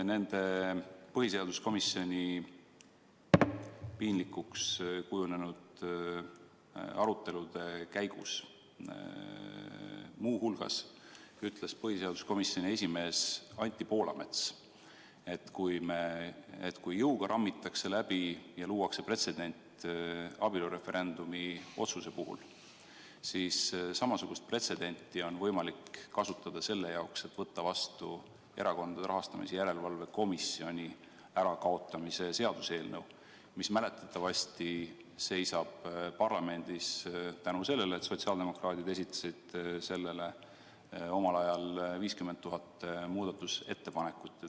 Põhiseaduskomisjoni piinlikuks kujunenud arutelude käigus ütles põhiseaduskomisjoni esimees Anti Poolamets muu hulgas seda, et kui jõuga rammitakse läbi ja luuakse pretsedent abielureferendumi otsuse puhul, siis samasugust taktikat on võimalik kasutada selle jaoks, et võtta vastu Erakondade Rahastamise Järelevalve Komisjoni likvideerimise seaduseelnõu, mis mäletatavasti seisab parlamendis tänu sellele, et sotsiaaldemokraadid esitasid sellele omal ajal 50 000 muudatusettepanekut.